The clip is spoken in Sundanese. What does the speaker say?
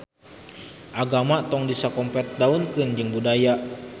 Agama tong disakompetdaunkeun jeung budaya